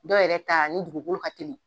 Dɔw yɛrɛ ta ni dugukolo ka teli.